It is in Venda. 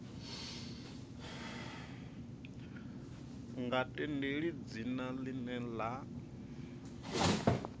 nga tendeli dzina ḽine ḽa